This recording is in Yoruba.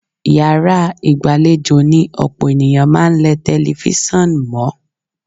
Yàrá ìgbàlejò ni ọ̀pọ̀ ènìyàn máa ń lẹ tẹlifíṣàn mọ́.